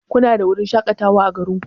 Kuna da wurin shakatawa ã garin ku?